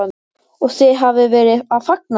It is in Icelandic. Og þið hafið verið að fagna því?